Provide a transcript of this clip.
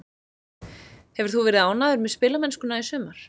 Hefur þú verið ánægður með spilamennskuna í sumar?